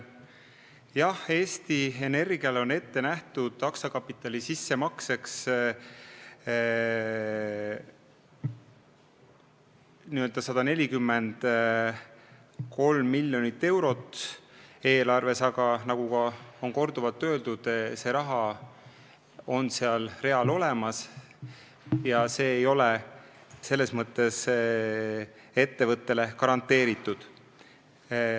Jah, Eesti Energiale on ette nähtud aktsiakapitali sissemakseks 143 miljonit eurot, aga nagu on korduvalt öeldud, see raha on seal real olemas, aga see ei ole ettevõttele garanteeritud.